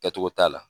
Kɛcogo t'a la